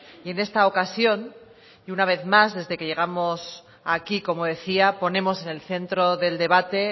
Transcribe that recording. y en esta ocasión y una vez más desde que llegamos aquí como decía ponemos en el centro del debate